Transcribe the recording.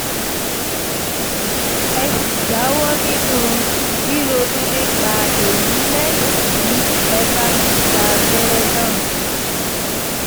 ẹ sì jáwọ́ nínú ríronú nípa èyí lẹ́yìn tí ẹ bá ti gba abẹ́rẹ́ náà